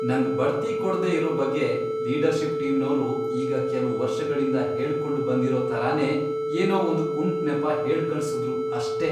ನಂಗ್ ಬಡ್ತಿ ಕೊಡ್ದೇ ಇರೋ ಬಗ್ಗೆ ಲೀಡರ್ಷಿಪ್ ಟೀಮ್ನೋರು ಈಗ ಕೆಲ್ವ್ ವರ್ಷಗಳಿಂದ ಹೇಳ್ಕೊಂಡ್ ಬಂದಿರೋ ಥರನೇ ಏನೋ ಒಂದ್ ಕುಂಟ್ನೆಪ ಹೇಳ್ಕಳ್ಸುದ್ರು ಅಷ್ಟೇ.